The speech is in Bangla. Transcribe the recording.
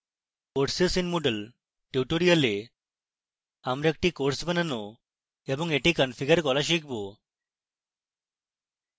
courses in moodle tutorial আমরা একটি courses বানানো এবং এটি configure করা শিখব